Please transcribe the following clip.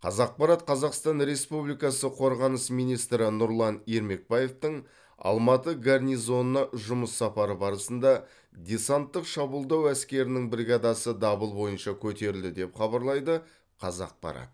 қазақпарат қазақстан республикасы қорғаныс министрі нұрлан ермекбаевтың алматы гарнизонына жұмыс сапары барысында десанттық шабуылдау әскерінің бригадасы дабыл бойынша көтерілді деп хабарлайды қазақпарат